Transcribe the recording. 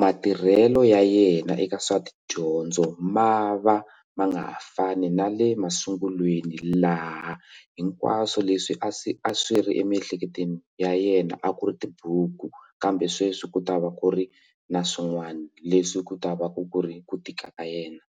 matirhelo ya yena eka swa tidyondzo ma va ma nga ha fani na le masungulweni laha hinkwaswo leswi a swi a swi ri emiehleketweni ya yena a ku ri tibuku kambe sweswi ku ta va ku ri na swin'wana leswi ku ta va ku ri ku tika ka yena.